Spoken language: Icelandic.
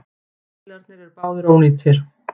Bílarnir eru báðir ónýtir.